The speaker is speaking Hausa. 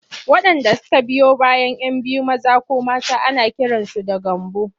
Waɗanda suka biyo bayan 'yan biyu maza ko mata ana kiransu da Gambo.